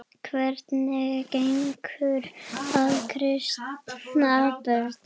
Hvernig gengur að kristna börnin?